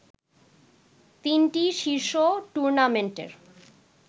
তিনটি শীর্ষ টুর্নামেন্টের